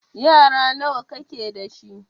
Yara nawa ka ke da shi?